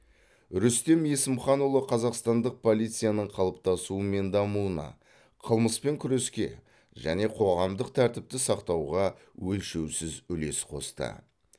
рүстем есімханұлы қазақстандық полицияның қалыптасуы мен дамуына қылмыспен күреске және қоғамдық тәртіпті сақтауға өлшеусіз үлес қосты